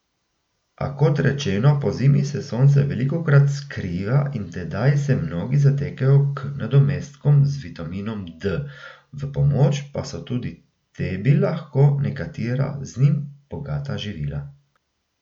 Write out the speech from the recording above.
A kot rečeno, pozimi se sonce velikokrat skriva in tedaj se mnogi zatekajo k nadomestkom z vitaminom D, v pomoč pa so tudi tebi lahko nekatera, z njim bogata živila.